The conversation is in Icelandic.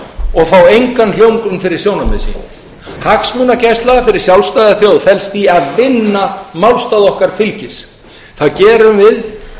og fá engan hljómgrunn fyrir sjónarmið sín hagsmunagæsla fyrir sjálfstæða þjóð felst í því að vinna málstað okkar fylgis það gerum við með